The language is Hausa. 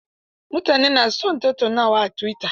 Mutane na son tattaunawa a tuwita.